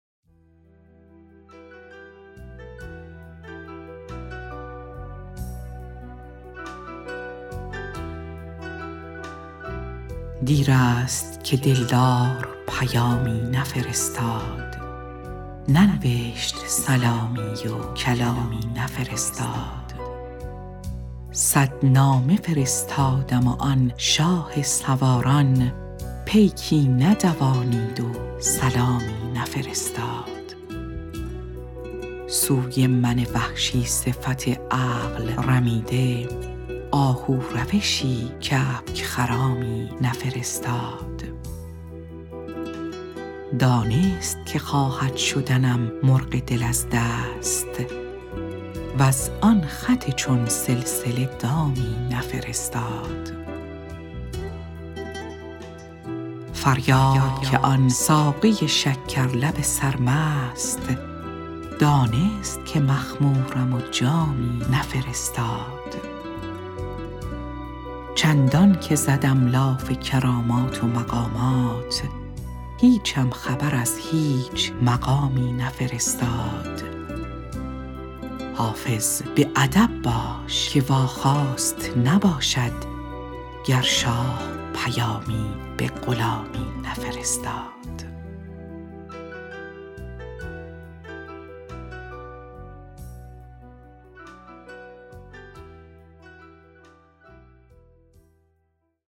دیر است که دل دار پیامی نفرستاد ننوشت سلامی و کلامی نفرستاد صد نامه فرستادم و آن شاه سواران پیکی ندوانید و سلامی نفرستاد سوی من وحشی صفت عقل رمیده آهو روشی کبک خرامی نفرستاد دانست که خواهد شدنم مرغ دل از دست وز آن خط چون سلسله دامی نفرستاد فریاد که آن ساقی شکر لب سرمست دانست که مخمورم و جامی نفرستاد چندان که زدم لاف کرامات و مقامات هیچم خبر از هیچ مقامی نفرستاد حافظ به ادب باش که واخواست نباشد گر شاه پیامی به غلامی نفرستاد